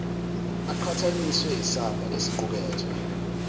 aqhathanise isamba esiqukethwe